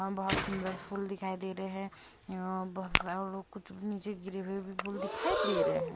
बहुत सुंदर फूल दिखाई दे रहे हैं बहुत सारे लोग कुछ नीचे गिरे हुए भी फूल दिखाई दे रहे हैं।